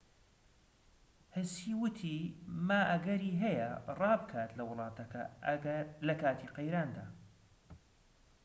هسی وتی ما ئەگەری هەیە ڕا بکات لە وڵاتەکە لەکاتی قەیراندا